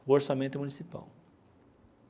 o orçamento municipal.